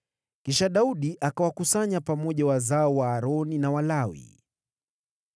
Kisha Daudi akawakusanya pamoja wazao wa Aroni na Walawi: